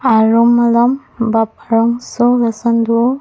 arum alom bap arongso lason do.